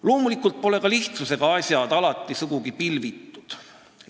Loomulikult pole ka lihtsusega asjad alati sugugi pilvitud.